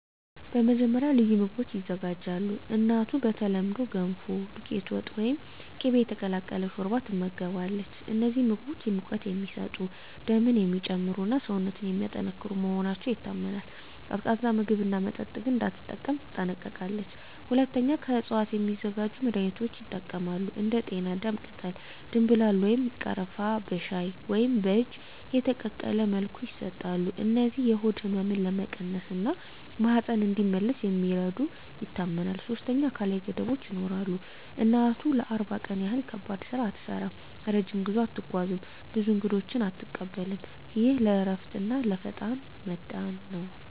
መጀመሪያ፣ ልዩ ምግቦች ይዘጋጃሉ። እናቱ በተለምዶ “ገንፎ”፣ “ዱቄት ወጥ” ወይም “ቅቤ የተቀላቀለ ሾርባ” ትመገባለች። እነዚህ ምግቦች ሙቀት የሚሰጡ፣ ደምን የሚጨምሩ እና ሰውነትን የሚያጠናክሩ መሆናቸው ይታመናል። ቀዝቃዛ ምግብና መጠጥ ግን እንዳትጠቀም ትጠነቀቃለች። ሁለተኛ፣ ከእፅዋት የሚዘጋጁ መድኃኒቶች ይጠቀማሉ። እንደ ጤናዳም ቅጠል፣ ደምብላል ወይም ቀረፋ በሻይ ወይም በእጅ የተቀቀለ መልኩ ይሰጣሉ። እነዚህ የሆድ ህመምን ለመቀነስ እና ማህፀን እንዲመለስ እንደሚረዱ ይታመናል። ሶስተኛ፣ አካላዊ ገደቦች ይኖራሉ። እናቱ ለ40 ቀን ያህል ከባድ ስራ አትሠራም፣ ረጅም ጉዞ አትጓዝም፣ ብዙ እንግዶችንም አትቀበልም። ይህ ለእረፍትና ለፈጣን መዳን ነው